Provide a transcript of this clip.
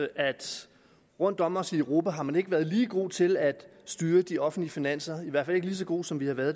at rundt om os i europa har man ikke været lige god til at styre de offentlige finanser i hvert fald ikke lige så gode som vi har været